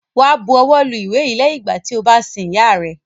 Wá bu ọwọ́ lu ìwé yìí lẹ́yìn ìgbà tí o bá sin ìyá rẹ!